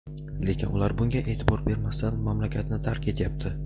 Lekin ular bunga e’tibor bermasdan mamlakatni tark etyapti.